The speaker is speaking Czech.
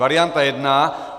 Varianta jedna.